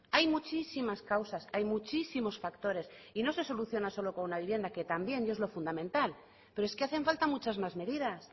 hay muchísimas causas hay muchísimos factores y no se soluciona solo con una vivienda que también y es lo fundamental pero es que hacen falta muchas más medidas